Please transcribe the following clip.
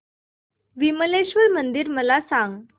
विमलेश्वर मंदिर मला सांग